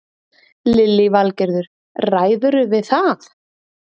Lillý Valgerður: Ræðurðu við það?